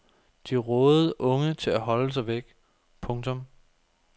De rådede unge til at holde sig væk. punktum